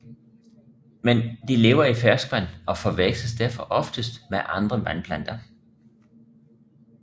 Men de lever i ferskvand og forveksles derfor oftest med andre vandplanter